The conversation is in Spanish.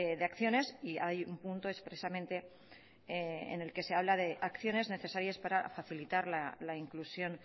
de acciones y hay un punto expresamente en el que se habla de acciones necesarias para facilitar la inclusión